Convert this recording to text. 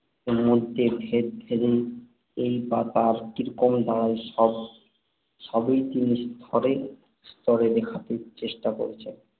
মধ্যে - ভেদাভেদই বা তার কাছে কীরকম দাঁড়ায় সব এসবই তিনি স্তরে স্তরে দেখাতে চেষ্টা করেছেন।